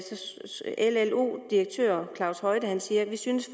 llos direktør claus højte siger at han synes